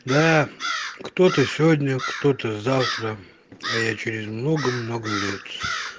да кто-то сегодня кто-то завтра а я через много-много лет